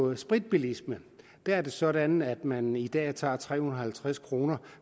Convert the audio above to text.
med spritbilisme der er det sådan at man i dag tager tre hundrede og halvtreds kroner